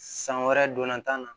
San wɛrɛ donna tan na